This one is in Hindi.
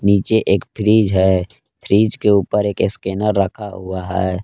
नीचे एक फ्रिज है फ्रिज के ऊपर एक स्कैनर रखा हुआ है।